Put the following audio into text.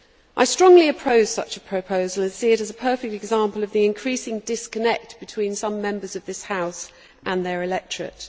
I strongly oppose such a proposal and see it as a perfect example of the increasing disconnect between some Members of this House and their electorate.